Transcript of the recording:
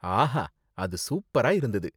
ஆஹா! அது சூப்பரா இருந்தது.